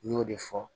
N y'o de fɔ